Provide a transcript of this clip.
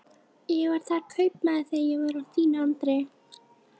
Ég var þar kaupmaður þegar ég var á þínum aldri.